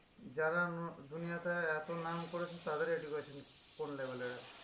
যারা দুনিয়াতে এত নাম করেছে তাদের education কোন level এর আছে